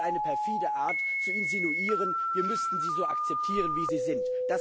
Das ist eine perfide Art zu insinuieren, wir müssten sie so akzeptieren, wie sie sind.